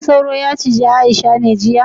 Shin sauro yacije Aisha ne jiya